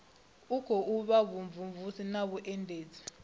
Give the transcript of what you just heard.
khou vha vhumvumvusi na vhuendedzi